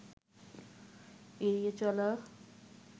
এড়িয়ে চলা